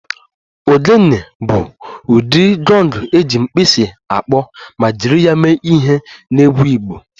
Ogene bụ ụdị gọng eji mkpisi akpọ ma jiri ya mee ihe n'egwu Igbo